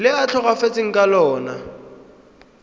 le a tlhokafetseng ka lona